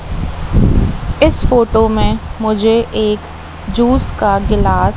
इस फोटो में मुझे एक जूस का गिलास--